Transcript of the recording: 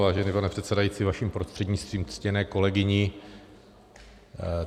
Vážený pane předsedající, vaším prostřednictvím ctěné kolegyni.